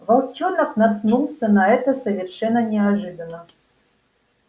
волчонок наткнулся на это совершенно неожиданно